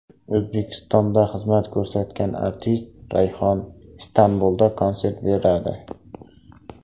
O‘zbekistonda xizmat ko‘rsatgan artist Rayhon Istanbulda konsert beradi.